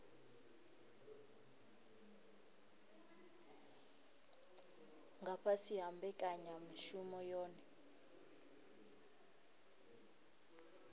nga fhasi ha mbekanyamushumo yohe